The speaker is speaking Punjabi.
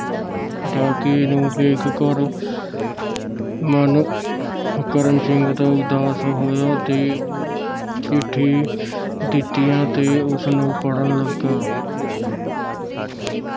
ਡਾਕੀਏ ਨੂੰ ਵੇਖ ਘਰ ਮਨ ਕਰਨ ਸਿੰਘ ਦਾ ਉਦਾਸ ਹੋਇਆ ਤੇ ਉਹ ਚਿਠੀ ਦਿਤੀਆਂ ਤੇ ਉਸਨੂੰ ਪੜ੍ਹਨ ਲਗਾ